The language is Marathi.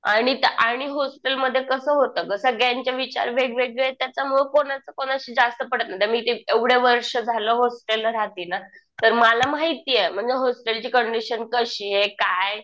आणि हॉस्टेलमध्ये कसं होतं गं. सगळ्यांचे विचार वेगवेगळे. त्याच्यामुळे कोणाचं कोणाशी जास्त पटत नाही. मी एवढं वर्ष झालं होस्टेलला राहतिये ना. तर मला माहितीये म्हणजे होस्टेलची कंडिशन कशी आहे काय.